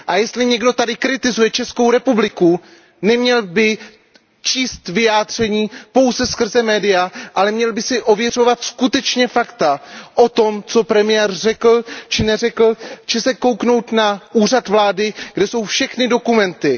A jestli někdo tady kritizuje Českou republiku, neměl by číst vyjádření pouze skrze média, ale měl by si ověřovat skutečně fakta o tom, co premiér řekl či neřekl, či se podívat na stránky úřadu vlády, kde jsou všechny dokumenty.